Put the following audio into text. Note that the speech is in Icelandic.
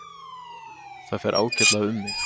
Það fer ágætlega um mig.